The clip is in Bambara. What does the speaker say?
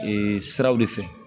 Ee siraw de fɛ